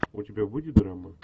у тебя будет драма